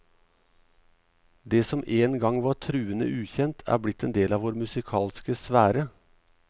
Det som en gang var truende ukjent, er blitt en del av vår musikalske sfære.